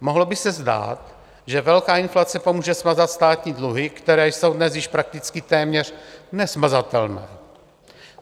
Mohlo by se zdát, že velká inflace pomůže smazat státní dluhy, které jsou dnes již prakticky téměř nesmazatelné.